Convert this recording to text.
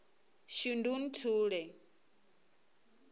shundunthule